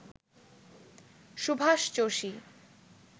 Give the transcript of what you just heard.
Subhash Joshi